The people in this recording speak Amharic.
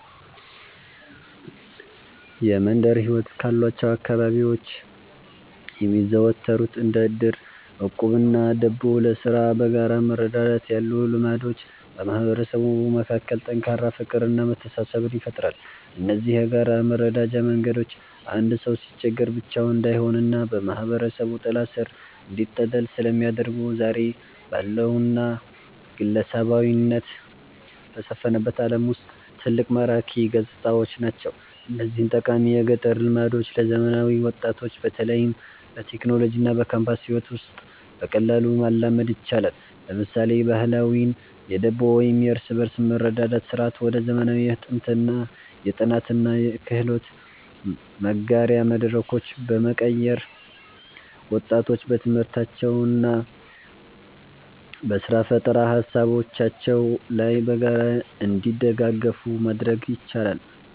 የመንደር ሕይወት ካሏቸው አካባቢዎች የሚዘወተሩት እንደ ዕድር፣ ዕቁብና ደቦ (ለሥራ በጋራ መረዳዳት) ያሉ ልማዶች በማህበረሰቡ መካከል ጠንካራ ፍቅርና መተሳሰብን ይፈጥራሉ። እነዚህ የጋራ መረዳጃ መንገዶች አንድ ሰው ሲቸገር ብቻውን እንዳይሆንና በማህበረሰቡ ጥላ ሥር እንዲጠለል ስለሚያደርጉ፣ ዛሬ ባለውና ግለሰባዊነት በሰፈነበት ዓለም ውስጥ ትልቅ ማራኪ ገጽታዎች ናቸው። እነዚህን ጠቃሚ የገጠር ልማዶች ለዘመናዊ ወጣቶች በተለይም በቴክኖሎጂና በካምፓስ ሕይወት ውስጥ በቀላሉ ማላመድ ይቻላል። ለምሳሌ፣ ባህላዊውን የደቦ ወይም የእርስ በርስ መረዳዳት ሥርዓት ወደ ዘመናዊ የጥናትና የክህሎት መጋሪያ መድረኮች በመቀየር፣ ወጣቶች በትምህርታቸውና በሥራ ፈጠራ ሃሳቦቻቸው ላይ በጋራ እንዲደጋገፉ ማድረግ ይቻላል።